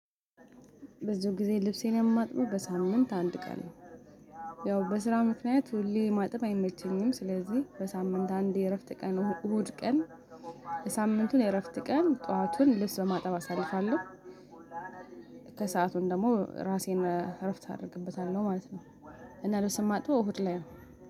በዚህ ጊዜ ልብሴን የማጥበው በሳምንት አንድ ቀን ነው ያው በስራ ምክንያት ሁሌ ማጠብ አይመቸኝም ስለዚህ በሳምንት አንዴ የእረፍት ቀን እሁድ ቀን። ሳምንቱን የእረፍት ቀን ጠዋቱን ልብስ በማጠብ አሳልፋለሁ። ከሰአቱን ደግሞ ራሴን እረፍት አድርግበታለሁ ማለት። እና ልብስ ማጥበው እሁድ ላይ ነው።